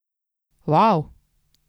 Vav!